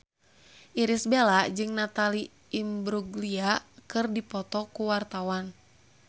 Irish Bella jeung Natalie Imbruglia keur dipoto ku wartawan